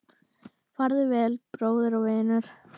Farðu vel, bróðir og vinur